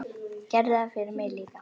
Gerðu það fyrir mig líka.